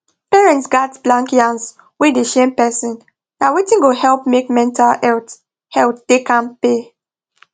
parents gats blank yans wey dey shame person na wetin go help make mental health health da kampe